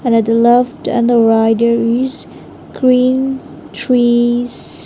and I love to end the writeries green trees.